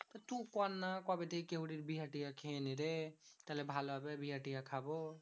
তু করনা কবে থেকে কেউরির বিহা টিহা খেয়েনি রে। থালে ভালো হবে বিহা টিহা খাবো।